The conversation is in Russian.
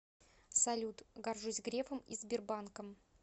салют горжусь грефом и сбербанком